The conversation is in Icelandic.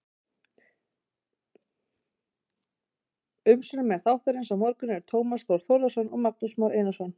Umsjónarmenn þáttarins á morgun eru Tómas Þór Þórðarson og Magnús Már Einarsson.